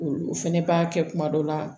O fɛnɛ b'a kɛ kuma dɔ la